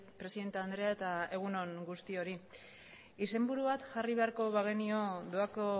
presidente andrea eta egun on guztioi izenburu bat jarri beharko bagenio doako